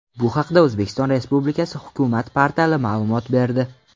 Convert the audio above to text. Bu haqda O‘zbekiston Respublikasi hukumat portali ma’lumot berdi .